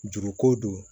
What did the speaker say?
Juruko don